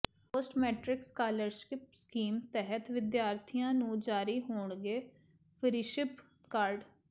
post matric scholarship scheme ਤਹਿਤ ਵਿਦਿਆਰਥੀਆਂ ਨੂੰ ਜਾਰੀ ਹੋਣਗੇ ਫ਼ਰੀਸ਼ਿਪ ਕਾਰਡ